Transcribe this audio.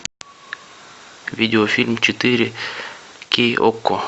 видеофильм четыре кей окко